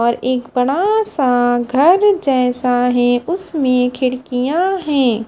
और एक बड़ा सा घर जैसा है उसमें खिड़कियां है।